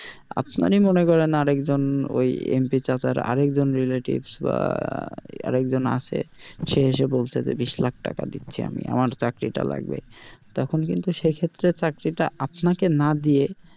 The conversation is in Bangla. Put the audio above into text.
আপনারই মনে করেন আর একজন ওই MP চাচার আর একজন relatives বা আরেক জন আছে সে এসে বলছে যে বিষ লাখ টাকা দিচ্ছি আমি আমার চাকরি টা লাগবে, তখন কিন্তু সেক্ষেত্রে চাকরি টা আপনাকে না দিয়ে,